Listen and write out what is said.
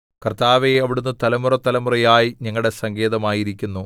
കർത്താവേ അവിടുന്ന് തലമുറതലമുറയായി ഞങ്ങളുടെ സങ്കേതമായിരിക്കുന്നു